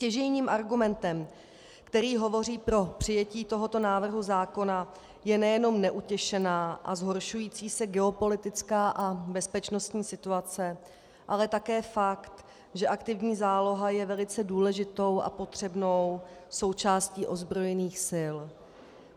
Stěžejním argumentem, který hovoří pro přijetí tohoto návrhu zákona, je nejenom neutěšená a zhoršující se geopolitická a bezpečnostní situace, ale také fakt, že aktivní záloha je velice důležitou a potřebnou součástí ozbrojených sil.